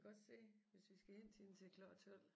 Godt se hvis vi skal hente hende til klokken 12